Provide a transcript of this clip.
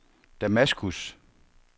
Damaskus